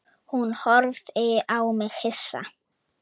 Hún horfði á mig hissa.